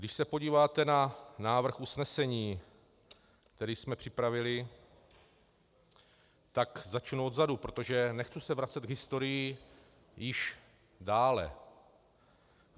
Když se podíváte na návrh usnesení, který jsme připravili, tak začnu odzadu, protože nechci se vracet k historii již dále.